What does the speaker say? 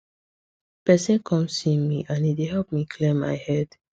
person come see me and e help me clear my head